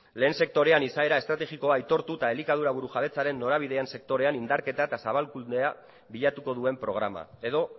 lehen sektorean izaera estrategikoa aitortu eta elikadura burujabetzaren norabidean sektorean indarketa eta zabalkundea bilatuko duen programa edo